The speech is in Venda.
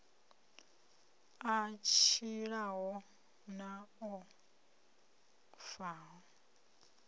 a tshilaho na o faho